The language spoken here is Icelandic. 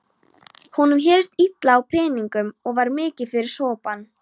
Honum hélst illa á peningum og var mikið fyrir sopann.